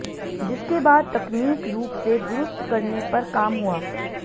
जिसके बाद तकनीक रूप से दुरुस्त करने पर काम हुआ